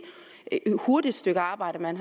er et hurtigt stykke arbejde man